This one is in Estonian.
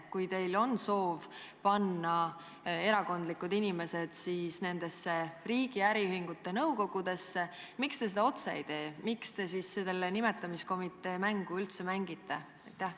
Kui teil on soov panna erakondlikud inimesed nendesse riigi äriühingute nõukogudesse, siis miks te seda otse ei tee, miks te selle nimetamiskomitee mängu üldse mängite?